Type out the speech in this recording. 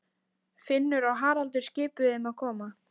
Finnur og Haraldur skipuðu þeim að koma.